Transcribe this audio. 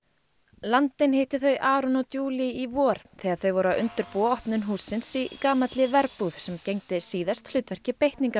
landinn hitti þau Aron og í vor þegar þau voru að undirbúa opnun hússins í gamalli verbúð sem gegndi síðast hlutverki